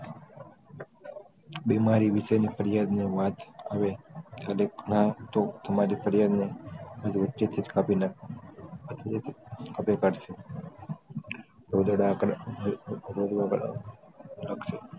બિમારી વિષે ની ફરિયાદ ને વાત આવે હવે આમરી ફરિયાદ ને વચ્ચે થી જ કાઢી નાખવાની કાપી કાળશે